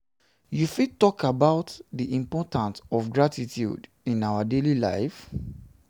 you fit talk about di importance of gratitude in our daily lives?